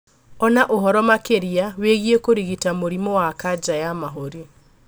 Ona ũhoro makĩria wĩgĩi kũrigita mũrimũ wa kanja ya mahuri